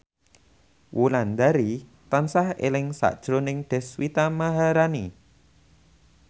Wulandari tansah eling sakjroning Deswita Maharani